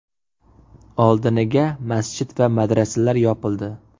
Oldiniga masjid va madrasalar yopildi.